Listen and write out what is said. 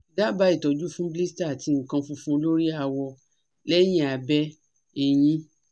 daba itoju fun blister ati nkan funfun lori awo leyin abe eyin